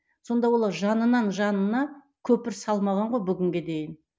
сонда олар жанының жанына көпір салмаған ғой бүгінге дейін